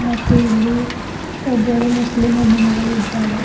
ಮತ್ತು ಇಲ್ಲಿ ಒಬ್ಬಳು ಮುಸ್ಲಿಂ ಹೆಣ್ಣು ಮಗಳು ಇದ್ದಾಳೆ.